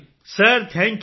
ਸਿਰ thank you